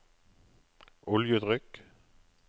oljetrykk